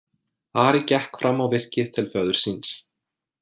Ari gekk fram á virkið til föður síns.